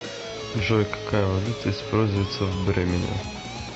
джой какая валюта используется в бремене